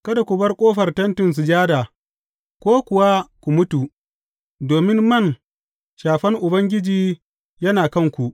Kada ku bar ƙofar Tentin Sujada ko kuwa ku mutu, domin man Shafan Ubangiji yana kanku.